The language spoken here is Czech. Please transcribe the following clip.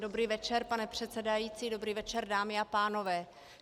Dobrý večer, pane předsedající, dobrý večer, dámy a pánové.